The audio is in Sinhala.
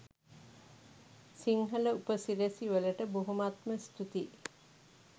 සිංහල උපසිරැසි වලට බොහොමත්ම ස්තූතියි